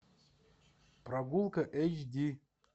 прогулка эйч ди